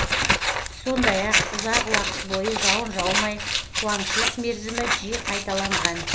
сондай ақ ұзақ уақыт бойы жауын жаумай қуаңщылық мерзімі жиі қайталанған